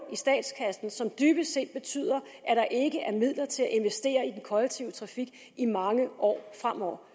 i statskassen som dybest set betyder at der ikke er midler til at investere i den kollektive trafik i mange år fremover